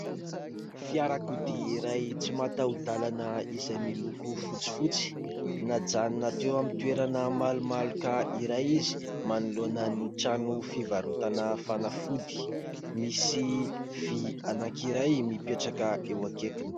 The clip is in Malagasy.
Fiarakodia iray tsy mataho-dalana izay miloko fotsifotsy. Najanona teo amin'ny toerana malomaloka iray izy manoloana ny trano fivarotana fanafody. Misy vy anankiray mipetraka eo akaikiny.